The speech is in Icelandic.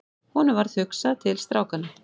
Honum varð hugsað til strákanna.